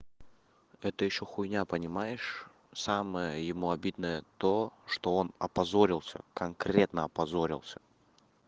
это ещё хуйня понимаешь самое ему обидное то что он опозорился конкретно опозорился